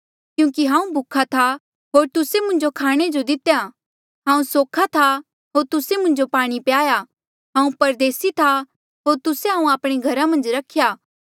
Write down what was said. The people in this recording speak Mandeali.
क्यूंकि हांऊँ भूखा था होर तुस्से मुंजो खाणे जो दितेया हांऊँ सोख्हा था होर तुस्से मुंजो पाणी प्याया हांऊँ परदेसी था होर तुस्से हांऊँ आपणे घरा मन्झ रख्या